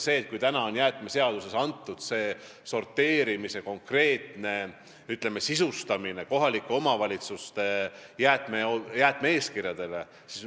Jäätmeseaduse järgi toimub sorteerimise konkreetne sisustamine kohaliku omavalitsuse jäätme-eeskirjades.